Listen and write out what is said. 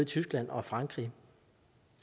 tyskland og frankrig